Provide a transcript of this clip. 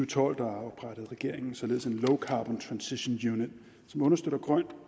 tolv oprettede regeringen således en low carbon transition unit som understøtter grøn